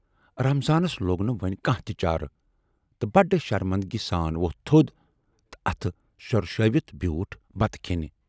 رمضانَس لوگ نہٕ وۅنۍ کانہہ تہِ چارٕ تہٕ بڈٕ شرمندٕگی سان ووتھ تھود تہٕ اَتھٕ سۅرشٲوِتھ بیوٗٹھ بتہٕ کھینہِ۔